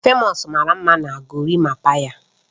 Famous mara mma na Gorimapaa ya